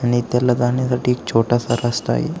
आणि त्याला जाण्यासाठी एक छोटासा रस्ता आहे.